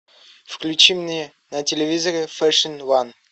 включи мне на телевизоре фэшн ван